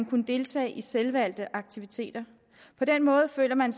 kunne deltage i selvvalgte aktiviteter på den måde føler man